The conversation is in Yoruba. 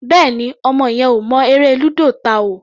Bẹ́ẹ̀ni, ọmọ yẹn ò mọ eré lúdò ta o.